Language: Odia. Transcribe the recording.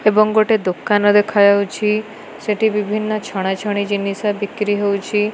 ଏବଂ ଗୋଟେ ଦୋକାନ ଦେଖାଯାଉଛି ସେଠି ବିଭିନ୍ନ ଛଣା ଛଣି ଜିନିଷ ବିକ୍ରି ହଉଛି।